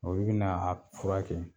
O bɛna a furakɛ